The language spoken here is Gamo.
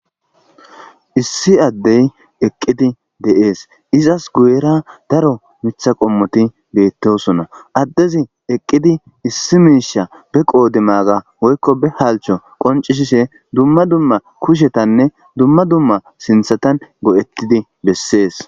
issi addey eqqidi de'ees izas guyera daro mitha qommoti beettosona addezi eqqidi issi miisha be qoode maaga woykko be halcho qoncishishe dumma dumma kushetanne dumma dumma sinthatan go'ettidi bessees